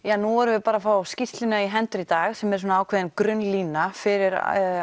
nú erum við bara að fá skýrsluna í hendur í dag sem er ákveðin grunnlína fyrir